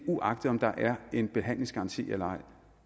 uagtet om der er en behandlingsgaranti eller ej